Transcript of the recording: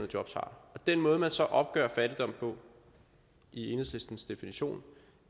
job har den måde man så opgør fattigdom på i enhedslistens definition